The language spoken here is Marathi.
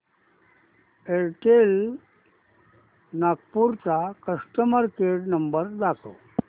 एअरटेल नागपूर चा कस्टमर केअर नंबर दाखव